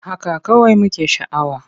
Haka kawai muke sha'awa.